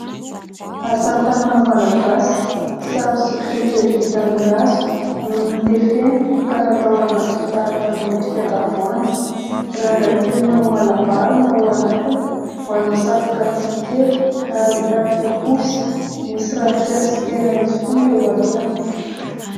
Asatanana malagasy sary sikotra kely vita amin'ny hazo no notefena ka natao anaty fitaratra miendrika tavoahangy. Rangaha kely manao malabary no ao anatiny, manao satroka tsihy kely ary mitarika posy, misy ravinkazo tsy tena izy koa eo alohany.